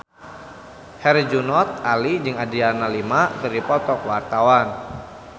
Herjunot Ali jeung Adriana Lima keur dipoto ku wartawan